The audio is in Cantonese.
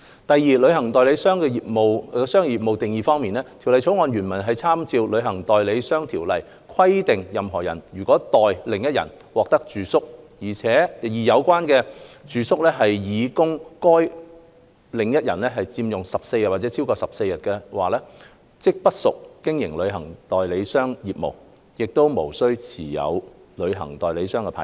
第二，旅行代理商業務的定義方面，《條例草案》原文參照《旅行代理商條例》，規定任何人如代另一人獲取住宿，而有關住宿是擬供該另一人佔用14天或超過14天，即不屬經營旅行代理商業務，無須持有旅行代理商牌照。